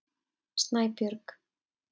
Snæbjörg